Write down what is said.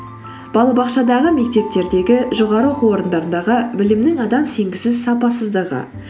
балабақшадағы мектептердегі жоғары оқу орындарындағы білімнің адам сенгісіз сапасыздығы